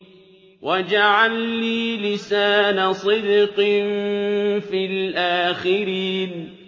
وَاجْعَل لِّي لِسَانَ صِدْقٍ فِي الْآخِرِينَ